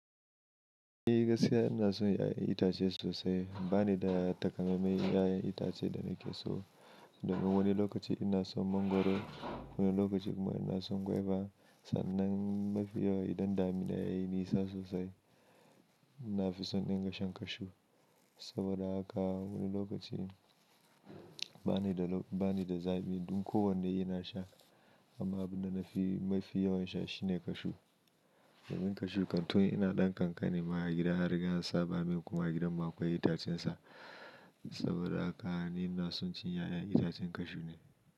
Ni gaskiya ina son 'ya'yan itace sosai. Ba ni da takamaimai 'ya'yan itace da nake so. Domin wani lokaci ina son mangwaro, wani lokaci kuma ina son guava. Sannan mafi yawa idan damina yayi nisa sosai, na fi son in din gashan cashew. Saboda haka wani lokaci ba ni da, ba ni da zaɓi. Don kowanne ina sha amma abin da na fi mafi yawan sha shine cashew. Domin cashew kan tun ina ɗan kankani ma a gida and riga an saba min kuma a gidan mu akwai itacen sa. Saboda haka ni naso cin 'ya'yan itacen cashew ne.